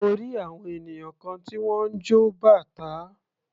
Mo rí àwọn ènìyàn kan tí wọ́n ń jọ bàtá.